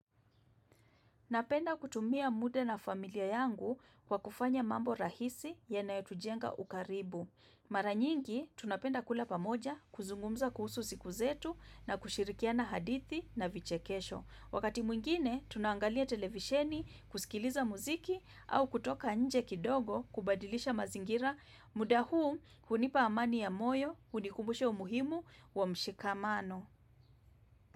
Napenda kutumia muda na familia yangu kwa kufanya mambo rahisi yanayotujenga ukaribu. Mara nyingi, tunapenda kula pamoja kuzungumza kuhusu siku zetu na kushirikiana hadithi na vichekesho. Wakati mwingine, tunangalia televisheni, kusikiliza muziki au kutoka nje kidogo kubadilisha mazingira. Muda huu hunipa amani ya moyo, hunikumbusha umuhimu wa mshikamano.